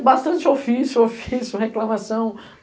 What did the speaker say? É bastante ofício, ofício, reclamação.